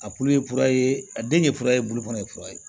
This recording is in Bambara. A tulu ye kura ye a den ye kura ye bulu fana ye kura ye